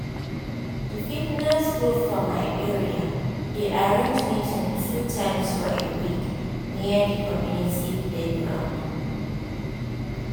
di fitness group for my area dey arrange meeting two times for a week near di community playground